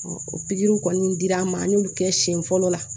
o pikiriw kɔni dir'an ma an y'olu kɛ siɲɛ fɔlɔ la